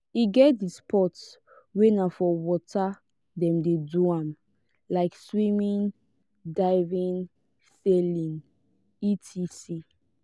e get di sport wey na for water dem de do am like swimming diving sailing etc